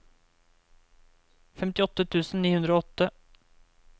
femtiåtte tusen ni hundre og åtte